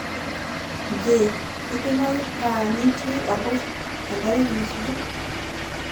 jee kidimayu paa nitii olpuuss enda wiki nasuju